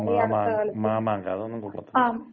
മാമാങ്കം അതൊന്നും കൊള്ളത്തില്ല.